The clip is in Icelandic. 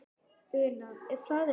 Una: Er það ekki?